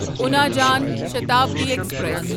اُنا جان شتابدی ایکسپریس